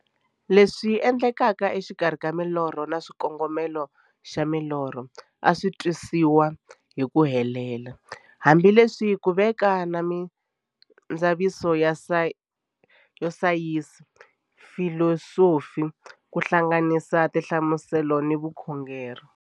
Leswi endlekaka e xikarhi ka milorho na xikongomelo xa milorho a swisi twisisiwa hi ku helela, hambi leswi ku veke na mindzavisiso ya sayensi, filosofi ku hlanganisa na tinhlamuselo hi vukhongori.